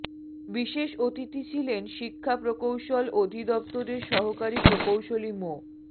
বিশেষ অতিথি ছিলেন শিক্ষা প্রকৌশল অধিদফতরের সহকারী প্রকৌশলী মো